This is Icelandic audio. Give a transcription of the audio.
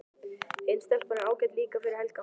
Hin stelpan er ágæt líka fyrir Helga.